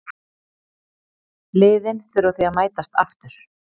Liðin þurfa því að mætast aftur.